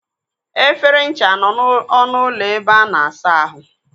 Efere ncha nọ n'ọnụ ụlọ ebe a na-asa ahụ.